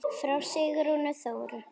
Frá Sigrúnu Þóru.